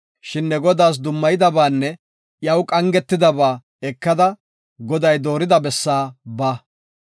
Shin ne Godaas dummayidabaanne iyaw qangidaba ekada, Goday doorida bessaa ba.